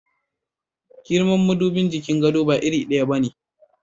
Girman madubin jikin gado ba iri daya ba ne.